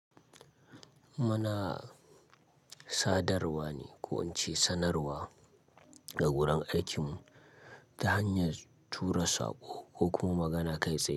Muna sadarwa ne ko in ce sanarwa a wurin aikinmu ta hanyar tura sako ko kuma magana kai tsaye.